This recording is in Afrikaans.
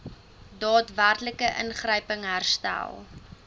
daadwerklike ingryping herstel